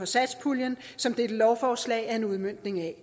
satspuljen som dette lovforslag er en udmøntning af